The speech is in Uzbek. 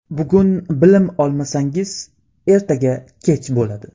Bugun bilim olmasangiz, ertaga kech bo‘ladi.